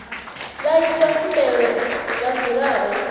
vhaiti vha khumbelo vha dzulaho